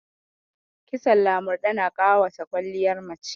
Kitson lamurɗe na ƙawata kwaliyar mace